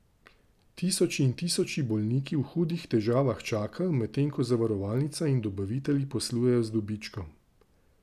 Tisoči in tisoči bolniki v hudih težavah čakajo, medtem ko zavarovalnica in dobavitelji poslujejo z dobičkom.